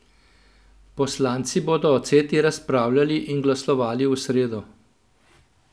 Poslanci bodo o Ceti razpravljali in glasovali v sredo.